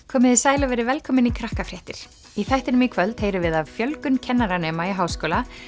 komiði sæl og verið velkomin í í þættinum í kvöld heyrum við af fjölgun kennaranema í háskóla